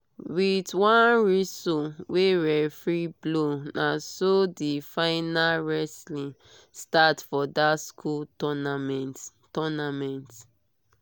with one whistle wey referee blow naso the final wrestling start for that school tounament. tounament.